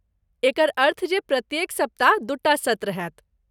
एकर अर्थ जे प्रत्येक सप्ताह दूटा सत्र होयत।